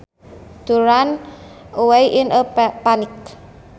To run away in a panic